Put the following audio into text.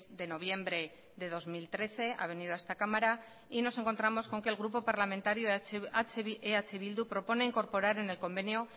de noviembre de dos mil trece ha venido a esta cámara y nos encontramos con que el grupo parlamentario eh bildu propone incorporar en el convenio